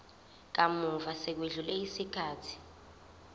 kamuva sekwedlule isikhathi